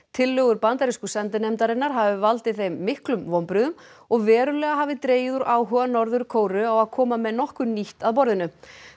tillögur bandarísku sendinefndarinnar hafi valdið þeim miklum vonbrigðum og verulega hafi dregið úr áhuga Norður Kóreu á að koma með nokkuð nýtt að borðinu